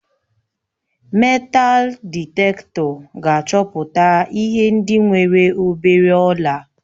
Meetal dịtektọ ga-achọpụta ihe ndị nwere obere ọla